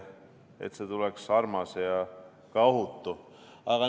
Et see tuleks armas ja ka ohutu!